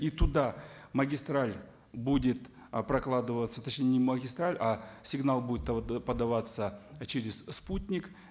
и туда магистраль будет прокладываться точнее не магистраль а сигнал будет подаваться через спутник